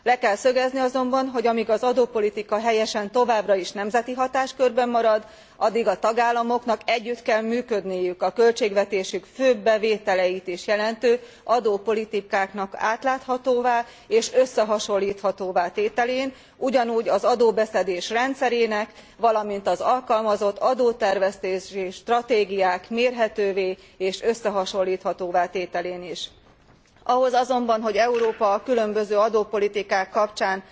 Le kell szögezni azonban, hogy amíg az adópolitika helyesen továbbra is nemzeti hatáskörben marad, addig a tagállamoknak együtt kell működniük a költségvetésük főbb bevételeit is jelentő adópolitikák átláthatóvá és összehasonlíthatóvá tételén, ugyanúgy az adóbeszedés rendszerének, valamint az alkalmazott adótervezési stratégiák mérhetővé és összehasonlíthatóvá tételén is. Ahhoz azonban, hogy Európa a különböző adópolitikák kapcsán